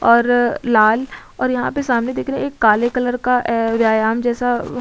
और लाल और यहाँ पे सामने दिखरे एक काले कलर का एै व्यायाम जैसा अ --